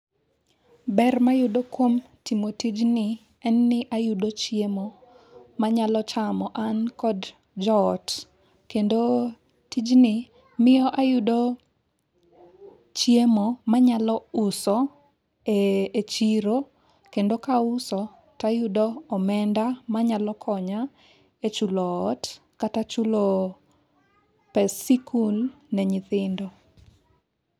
Ber ma iyudo kuom timo tijni en ni ayudo chiemo manyalo chamo an kod jo ot. Kendo tijni miyo ayudo chiemo manyalo uso e chiro kendo ka auso to ayudo omenda manyalo konya e chulo ot kata chuloo pes sikul ne nyithindo.